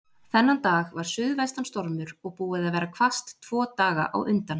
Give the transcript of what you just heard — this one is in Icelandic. Þennan dag var suðvestan stormur og búið að vera hvasst tvo daga á undan.